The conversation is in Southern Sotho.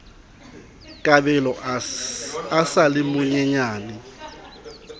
kabelo a sa le monyenyane